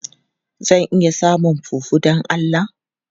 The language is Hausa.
Zan iya samun fufu don Allah?